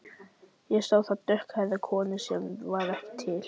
Ég sá þar dökkhærða konu sem var ekki til.